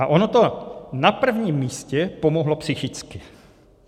A ono to na prvním místě pomohlo psychicky.